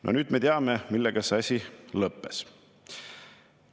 " No nüüd me teame, millega see asi lõppes.